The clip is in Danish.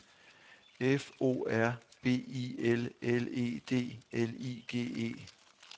F O R B I L L E D L I G E